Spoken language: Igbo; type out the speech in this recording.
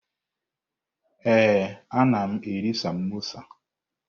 Ee, anam eri samosa.